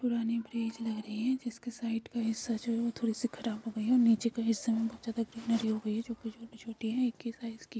पुराने ब्रिज लग रही है जिसके साइड का हिस्सा जो है थोरी सी खराब हो गई है नीचे का हिस्सा बहुत ज्यादा किनारे हो गई जो कि छोटे छोटे है एक ही साइज की--